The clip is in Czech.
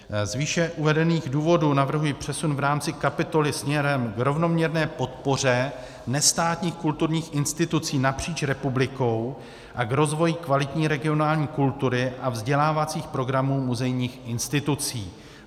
Z výše uvedených důvodů navrhuji přesun v rámci kapitoly směrem k rovnoměrné podpoře nestátních kulturních institucí napříč republikou a k rozvoji kvalitní regionální kultury a vzdělávacích programů muzejních institucí.